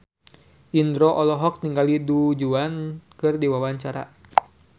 Indro olohok ningali Du Juan keur diwawancara